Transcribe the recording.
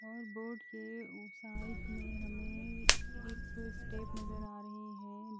वहा बोर्ड के साइड में हमे एक स्टेप नज़र आ रहे है।